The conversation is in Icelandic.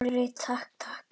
Snorri, takk, takk.